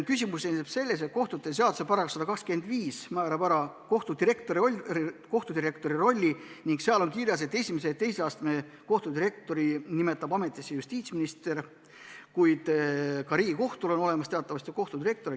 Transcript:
Küsimus seisneb selles, et kohtute seaduse § 125 määrab kohtudirektori rolli ning seal on kirjas, et esimese ja teise astme kohtu kohtudirektori nimetab ametisse justiitsminister, kuid ka Riigikohtul on teatavasti kohtudirektor.